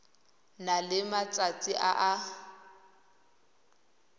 na le metsi a a